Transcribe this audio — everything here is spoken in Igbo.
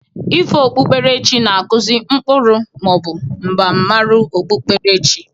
Ifo okpukperechi na-akụzị ụkpụrụ ma ọ bụ mbamụru okpukperechi.